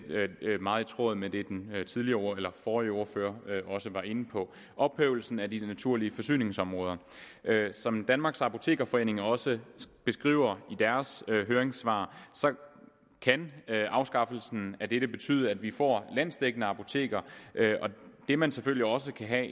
meget i tråd med det den forrige ordfører også var inde på ophævelsen af de naturlige forsyningsområder som danmarks apotekerforening også beskriver i deres høringssvar kan afskaffelsen af dette betyde at vi får landsdækkende apoteker og det man selvfølgelig også kan have